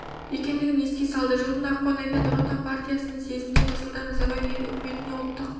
екендігін еске салды жылдың ақпан айында нұр отан партиясының съезінде нұрсұлтан назарбаев ел үкіметіне ұлттық